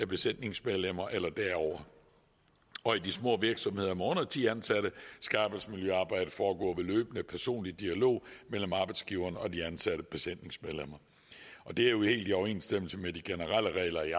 besætningsmedlemmer eller derover og i de små virksomheder med under ti ansatte skal arbejdsmiljøarbejdet foregå ved løbende personlig dialog mellem arbejdsgiveren og de ansatte besætningsmedlemmer og det er jo helt i overensstemmelse med de generelle regler i